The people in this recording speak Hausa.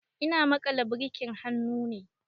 Ina maƙala birkin hannu ne.